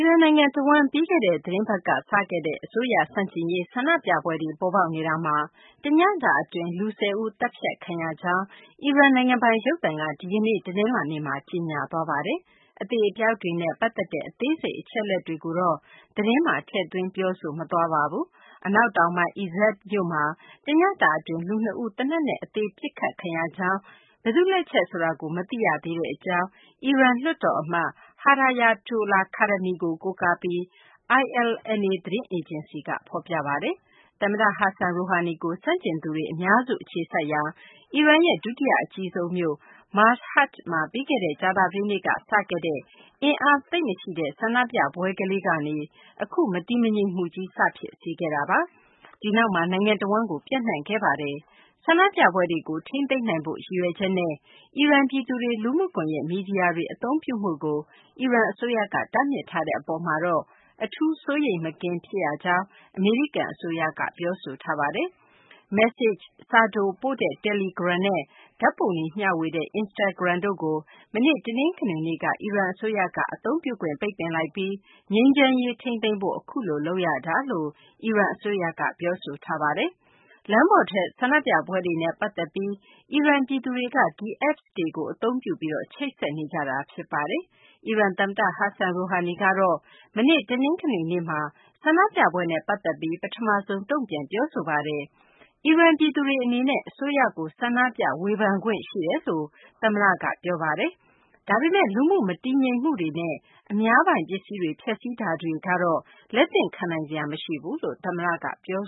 ရန်နိုင်ငံ တဝန်း ပြီးခဲ့တဲ့ သီတင်းပတ်က စခဲ့တဲ့ အစိုးရ ဆန့်ကျင်ရေး ဆန္ဒပြပွဲတွေ ပေါ်ပေါက်နေတာမှာ တညတာ အတွင်း လူ ၁၀ ဦး သတ်ဖြတ်ခံရကြောင်း အီရန် နိုင်ငံပိုင် ရုပ်သံက ဒီကနေ့ တနလာၤနေ့မှာ ကြေညာသွားပါတယ်။ အသေအပျောက်တွေနဲ့ ပတ်သက်တဲ့ အသေးစိတ် အချက်အလက်တွေကိုတော့ သတင်းမှာ ထည့်သွင်း ပြောဆိုမသွားပါဘူး။ အနောက်တောင်ပိုင်း Izeh မြို့မှာ တညတာ အတွင်း လူနှစ်ဦး သေနတ်နဲ့ အသေ ပစ်ခတ်ခံရကြောင်း၊ ဘယ်သူ့လက်ချက်ဆိုတာကို မသိရသေးတဲ့ အကြောင်း အီရန် လွှတ်တေ်ာအမတ် Hedayatollah Khademi ကို ကိုးကားပြီး ILNA သတင်းအေဂျင်စီက ဖော်ပြပါတယ်။ သမ္မတ Hassan Rouhani ကို ဆန့်ကျင်သူတွေ အများစု အခြေစိုက်ရာ အီရန်ရဲ့ ဒုတိယ အကြီးဆုံးမြို့ Mashhad မှာ ပြီးခဲ့တဲ့ ကြာသပတေးနေ့က စခဲ့တဲ့ အင်အားသိပ်မရှိတဲ့ ဆန္ဒပြပွဲလေးကနေ အခု မတည်မငြိမ်မှုကြီး စဖြစ်စေခဲ့တာပါ။ ဒီနောက်မှာ နိုင်ငံတဝန်းကို ပျံ့နှံ့ခဲ့တာပါ။ ဆန္ဒပြပွဲတွေကို ထိန်းသိမ်းနိုင်ဖို့ ရည်ရွယ်ချက်နဲ့ အီရန် ပြည်သူတွေ လူမှုကွန်ယက် မီဒီယာတွေ အသုံးပြုမှုကို အီရန် အစိုးရက တားမြစ်ထားတဲ့ အပေါ်မှာတော့ အထူး စိုးရိမ်မကင်း ဖြစ်ရကြောင်း အမေရိကန် အစိုးရက ပြောဆိုထားပါတယ်။ မက်ဆေချ့် စာတိုပို့တဲ့ တယ်လီဂရမ်နဲ့ ဓာတ်ပုံတွေ မျှဝေတဲ့ Instagram တို့ကို မနေ့ တနင်္ဂနွေနေ့က အီရန် အစိုးရက အသုံးပြုခွင့် ပိတ်ပင်လိုက်ပြီး ငြိမ်းချမ်းရေး ထိန်းသိမ်းဖို့ အခုလို လုပ်ရတာလို့ အီရန် အစိုးရက ပြောဆိုပါတယ်။ လမ်းပေါ်ထွက် ဆန္ဒပြပွဲတွေနဲ့ ပတ်သက်ပြီး အီရန် ပြည်သူတွေက ဒီ Apps တွေကို သုံးပြီး ချိတ်ဆက်ကြတာပါ။ အီရန် သမ္မတ Hassan Rouhani ကတော့ မနေ့ တနင်္ဂနွေနေ့မှာ ဆန္ဒပြပွဲနဲ့ ပတ်သက်ပြီး ပထမဆုံး တုံ့ပြန်ပြောဆိုပါတယ်။ အီရန် ပြည်သူတွေ အနေနဲ့ အစိုးရကို ဆန္ဒပြ ဝေဖန်ခွင့် ရှိတယ်လို့ သမ္မတ Rouhani က ပြောခဲ့တာပါ။ ဒါပေမယ့် လူမှုမတည်မငြိမ်မှုတွေနဲ့ အများပြည်သူပိုင် ပစ္စည်းတွေ ဖျက်စီးမှုတွေကတော့ လက်သင့်ခံနိုင်စရာ မရှိဘူးလို့ သမ္မတက ပြော